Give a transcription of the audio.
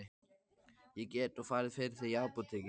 Ég get nú farið fyrir þig í apótekið.